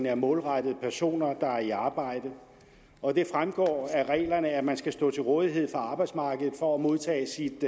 er målrettet personer der er i arbejde og det fremgår af reglerne at man skal stå til rådighed for arbejdsmarkedet for at modtage sit